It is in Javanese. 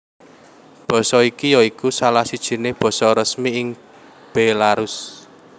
Basa iki ya iku salah sijiné basa resmi ing Bélarus